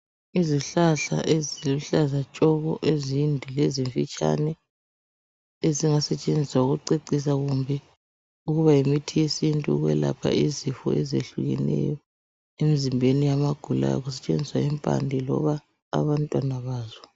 Izihlahla eziluhlaza tshoko ezinde lezimfitshane ezingasetshenziswa ukucecisa kumbe ukuba yimithi yesintu ukwelapha izifo ezitshiyeneyo emzimbeni yabagulayo kusetshenzisa impande kumbe abantwana bazo